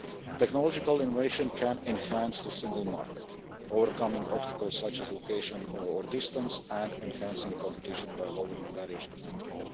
Technological innovation can enhance the single market, overcoming obstacles such as location or distance, and enhancing competition by lowering barriers to entry.